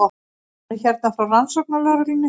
Hann er hérna frá rannsóknarlögreglunni.